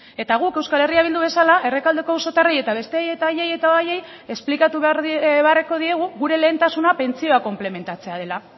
eta guk euskal herria bildu bezala errekaldeko auzotarrei eta besteei eta haiei eta haiei esplikatu beharko diegu gure lehentasuna pentsioa konplementatzea dela